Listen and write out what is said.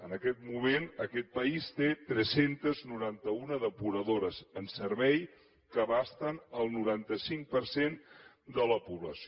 en aquest moment aquest país té tres cents i noranta un depuradores en servei que abracen el noranta cinc per cent de la població